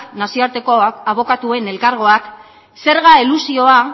nazioarteko abokatuen elkargoak zerga elusioa